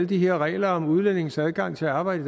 de her regler om udlændinges adgang til at arbejde